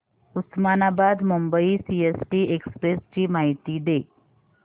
Osmanabad Mumbai CST express ची माहिती दे